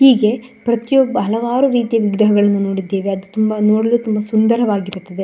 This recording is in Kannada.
ಹೀಗೆ ಪ್ರತಿಯೊಬ್ಬ ಹಲವಾರು ಪ್ರೀತಿ ಮಿತ್ರನ್ನು ನೋಡಿದ್ದೇವೆ ಅವರು ನೋಡಲು ಸುಂದರವಾಗಿರುತ್ತೆ.